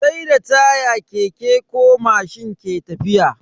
Sai da taya keke ko mashin ke tafiya.